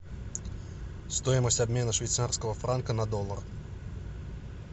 стоимость обмена швейцарского франка на доллар